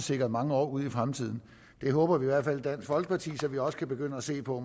sikret mange år ud i fremtiden det håber vi i hvert fald i dansk folkeparti så vi måske også kan begynde at se på